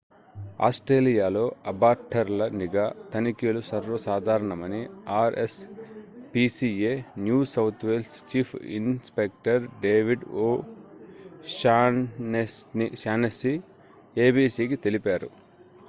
ఆస్ట్రేలియాలో అబాట్టర్ల నిఘా తనిఖీలు సర్వసాధారణమని R S PCA New South Wales chief inspector David O'Shaughnessy ఏబీసీకి తెలిపారు